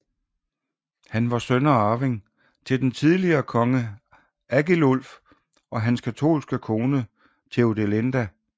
Han var søn og arving til den tidligere konge Agilulf og hans katolske kone Theodelinda